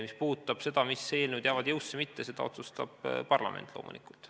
Mis puudutab seda, mis eelnõud jäävad jõusse või mitte, siis seda otsustab parlament loomulikult.